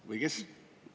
Või kes?